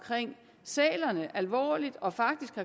sælerne alvorligt og faktisk